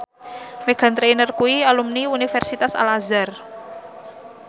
Meghan Trainor kuwi alumni Universitas Al Azhar